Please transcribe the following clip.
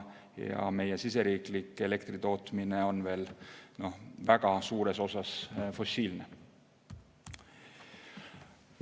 Meie siseriiklik elektritootmine on veel väga suures osas fossiilne.